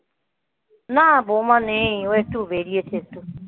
না বৌমা নেই ও একটু বেরিয়েছে একটু